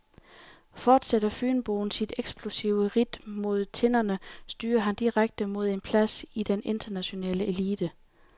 Fortsætter fynboen sit eksplosive ridt mod tinderne, styrer han direkte mod en plads i den internationale elite.